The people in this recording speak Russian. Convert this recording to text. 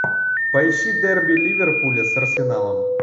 поищи дерби ливерпуля с арсеналом